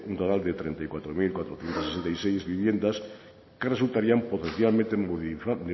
un total de treinta y cuatro mil cuatrocientos sesenta y seis viviendas que resultarían potencialmente